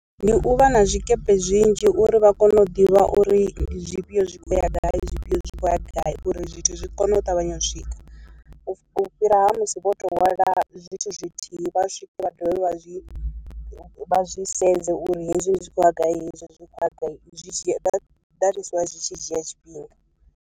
Ndi u vha na zwikepe zwinzhi uri vha kone u ḓivha uri zwifhio zwi khou ya gai zwifhio zwi khou ya gai uri zwithu zwi kone u ṱavhanya u swika, u fhira musi vho to hwala zwithu zwithihi vha swike vha dovhe vha zwi vha zwi sedze uri hezwi zwi khou ya gai hezwi zwi kho ya gai, zwi dzhia that is why zwi tshi dzhia tshifhinga.